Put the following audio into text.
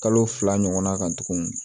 Kalo fila ɲɔgɔna kan tuguni